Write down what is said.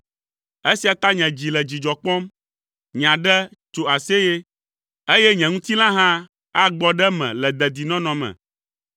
Esia ta nye dzi le dzidzɔ kpɔm, nye aɖe tso aseye, eye nye ŋutilã hã agbɔ ɖe eme le dedinɔnɔ me,